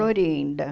Florinda.